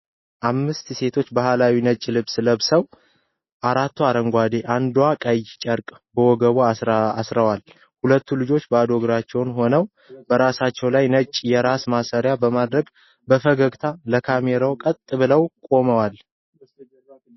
አምስት ሴቶች ባህላዊ ነጭ ልብስ ለብሰው፣ አራቱ አረንጓዴ፣ አንዷ ቀይ ጨርቅ በወገቧ አስረዋል። ሁሉም ልጆቹ ባዶ እግራቸውን ሆነው፣ በራሳቸው ላይ ነጭ የራስ ማሰሪያ በማድረግ፣ በፈገግታ ለካሜራው ቀጥ ብለው ቆመዋል።